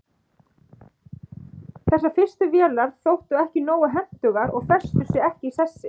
þessar fyrstu vélar þóttu ekki nógu hentugar og festu sig ekki í sessi